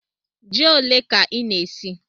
Jí ólé kà ị na-ésí?